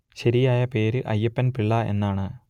ശരിയായ പേര് അയ്യപ്പൻ പിള്ള എന്നാണ്